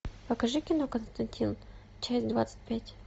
покажи кино константин часть двадцать пять